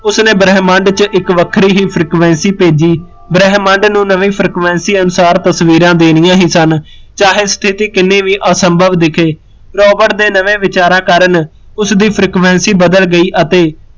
ਉਸਨੇ ਬ੍ਰਹਮੰਡ ਚ ਇੱਕ ਵੱਖਰੀ ਹੀਂ frequency ਭੇਜੀ, ਬ੍ਰਹਮੰਡ ਨੂੰ ਨਵੀਂ frequency ਅਨੁਸਾਰ ਤਸਵੀਰਾਂ ਦੇਣੀਆ ਹੀਂ ਸਨ ਚਾਹੇ ਸਥਿਤੀ ਕਿਨੀ ਵੀ ਅਸਭਵ ਦਿੱਖੇ, ਰੋਬਰਟ ਦੇ ਨਵੇ ਵਿਚਾਰਾ ਕਾਰਣ ਉਸਦੀ frequency ਬਦਲ ਗਈ ਅਤੇ